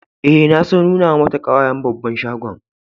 Eh, na so nuna mata kawayen babban shagon.